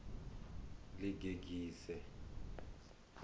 ḽigegise